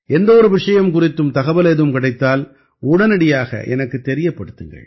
எந்த ஒரு விஷயம் குறித்தும் தகவல் ஏதும் கிடைத்தால் உடனடியாக எனக்குத் தெரியப்படுத்துங்கள்